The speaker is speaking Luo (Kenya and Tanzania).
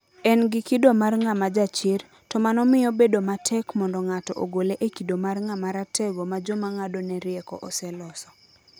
En gi kido mar ng'ama jachir, to mano miyo bedo matek mondo ng'ato ogole e kido mar ng'ama ratego ma joma ng'adone rieko oseloso.